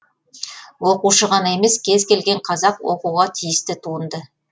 оқушы ғана емес кез келген қазақ оқуға тиісті туынды